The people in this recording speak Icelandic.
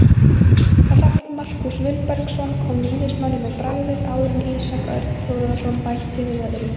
Rafn Markús Vilbergsson kom Víðismönnum á bragðið áður en Ísak Örn Þórðarson bætti við öðru.